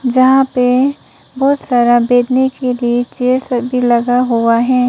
यहां पे बहुत सारा बैठने के लिए चेयर्स भी लगा हुआ है।